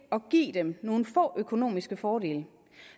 at give dem nogle få økonomiske fordele